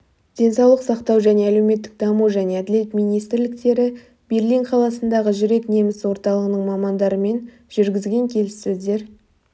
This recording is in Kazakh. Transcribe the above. денсаулық сақтау және әлеуметтік даму және әділет министрліктері берлин қаласындағы жүрек неміс орталығының мамандарымен жүргізген келіссөздер